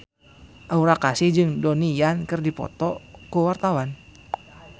Aura Kasih jeung Donnie Yan keur dipoto ku wartawan